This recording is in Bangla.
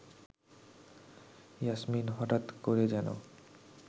ইয়াসমিন হঠাৎ করে যেন